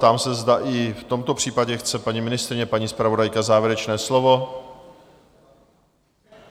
Ptám se, zda i v tomto případě chce paní ministryně, paní zpravodajka závěrečné slovo?